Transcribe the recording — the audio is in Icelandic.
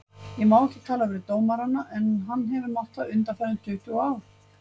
Ég má ekki tala við dómarana en hann hefur mátt það undanfarin tuttugu ár?